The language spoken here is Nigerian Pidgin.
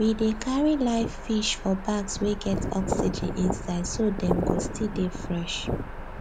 we dey carry live fish for bags wey get oxygen inside so dem go still dey fresh